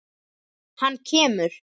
Hann kemur.